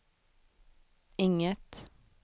inget